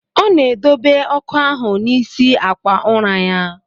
Ọ na edobe ọkụ ahụ n'isi akwa ụra ya.